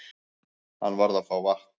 Hann varð að fá vatn.